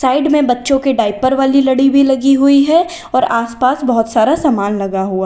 side में बच्चों के डायपर वाली लड़ी भी लगी हुई है और आस पास बहोत सारा सामान लगा हुआ--